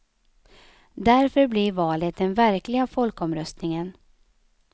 Därför blir valet den verkliga folkomröstningen.